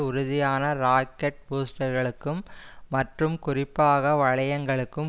உறுதியான ராக்கெட் பூஸ்டர்களுக்கும் மற்றும் குறிப்பாக வளையங்களுக்கும்